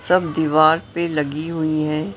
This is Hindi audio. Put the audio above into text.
सब दीवार पे लगी हुई है।